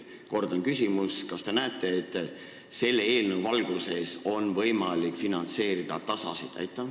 Kordan küsimust: kas te näete, et selle eelnõu valguses oleks võimalik finantseerida DASA-sid?